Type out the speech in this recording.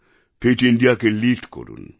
fit Indiaকে lead করুন